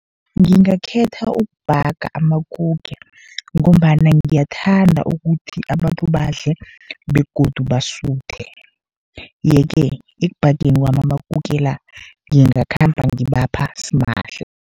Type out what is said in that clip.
Ngingakhetha ukubhaga amakuke, ngombana ngiyathanda ukuthi abantu badle begodu basuthe, ye-ke ekubhageni kwami amakuke la, ngingakhamba ngibapha simahla.